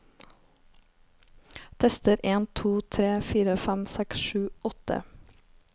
Tester en to tre fire fem seks sju åtte